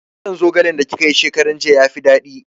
Kwaɗon zogale da kika yi shekaran jiya ya fi daɗi